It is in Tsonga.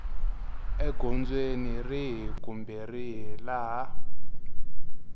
egondzweni rihi kumbe rihi laha